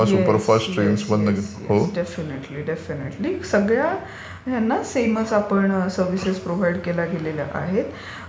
Yes, yes. Definitely, definitely. सगळ्या प्रकारच्या गाड्यांमध्ये आपण सर्व्हिसेस प्रोव्हाईड केल्या गेलेल्या आहेत.